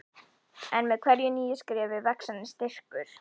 En með hverju nýju skrefi vex henni styrkur.